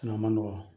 man nɔgɔ